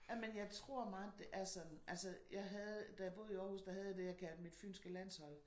Jamen jeg tror meget at det er sådan altså jeg havde da jeg boede i Aarhus der havde jeg det jeg kaldte mit fynske landshold